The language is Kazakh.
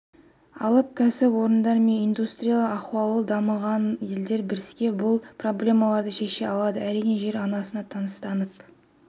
алып кәсіпорындар мен индустриялық ахуалы дамыған елдер біріксе бұл проблемаларды шеше алады әрине жер ананың тыныстап